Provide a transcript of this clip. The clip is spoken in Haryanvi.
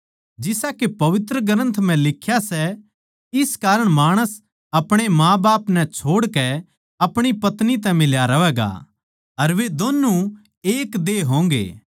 जिसा के पवित्रग्रन्थ म्ह लिख्या सां इस कारण माणस अपणे माँ बाप नै छोड़कै अपणी पत्नी तै मिल्या रह्वैगा अर वे दोनु एक देह होंगे